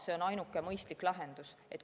See on ainuke mõistlik lahendus.